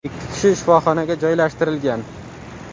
Ikki kishi shifoxonaga joylashtirilgan.